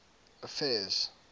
affairs